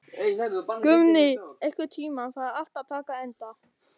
Guðni, einhvern tímann þarf allt að taka enda.